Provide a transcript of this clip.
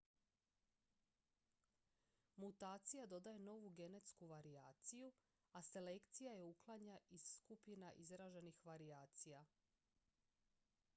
mutacija dodaje novu genetsku varijaciju a selekcija je uklanja iz skupa izraženih varijacija